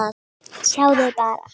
Sjáðu bara!